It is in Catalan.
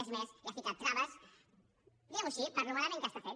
és més hi ha ficat traves diguem ho així de malament que està fet